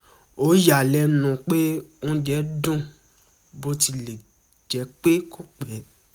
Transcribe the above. ó yà á lẹ́nu pé oúnjẹ dùn bó tilẹ̀ jẹ́ pé kò pé